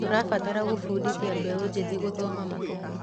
Tũrabatara gũbundithia mbeũ njĩthĩ gũthoma mabuku.